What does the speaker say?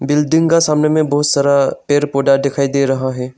Building का सामने में बहुत सारा पेड़ पौधा दिखाई दे रहा है।